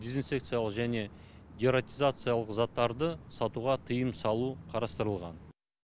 дезинфекциялық және дератизациялық заттарды сатуға тыйым салу қарастырылған